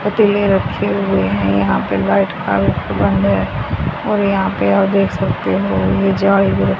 पतीले रखे हुए हैं यहां पे लाईट का भी प्रबंध है और यहां पे आप देख सकते हो ये --